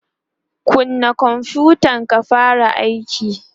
kunna konfutan ka fara aiki!